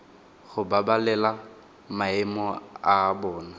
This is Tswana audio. go babalela maemo a bona